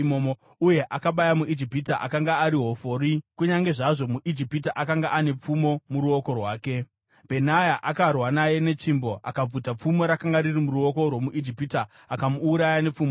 Uye akabaya muIjipita akanga ari hofori. Kunyange zvazvo muIjipita akanga ane pfumo muruoko rwake, Bhenaya akarwa naye netsvimbo. Akabvuta pfumo rakanga riri muruoko rwomuIjipita akamuuraya nepfumo rake.